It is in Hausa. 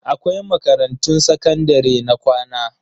Akwai makarantun sakandare na kwana.